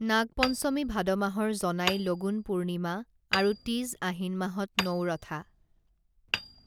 নাগপঞ্চমী ভাদ মাহৰ জনাই লগুণ পূৰ্ণিমা আৰু তীজ আহিন মাহত নউৰথা